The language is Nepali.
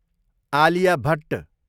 आलिया भट्ट